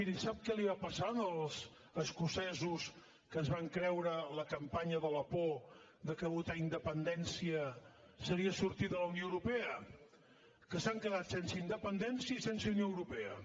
miri sap què els va passar als escocesos que es van creure la campanya de la por que votar independència seria sortir de la unió europea que s’han quedat sense independència i sense unió europea